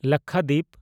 Lakshadweep